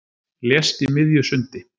Lést í miðju sundi